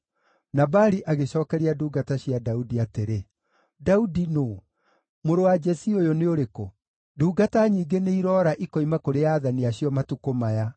Nabali agĩcookeria ndungata cia Daudi atĩrĩ, “Daudi nũũ? Mũrũ wa Jesii ũyũ nĩ ũrĩkũ? Ndungata nyingĩ nĩiroora ikoima kũrĩ aathani acio matukũ maya.